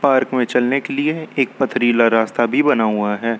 Park में चलने के लिए एक पथरीला रास्ता भी बना हुआ है।